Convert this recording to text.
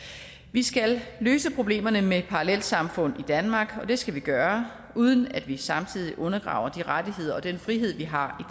vi skal løse problemerne med parallelsamfund i danmark og det skal vi gøre uden at vi samtidig undergraver de rettigheder og den frihed vi har